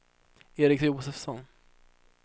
Eric Josefsson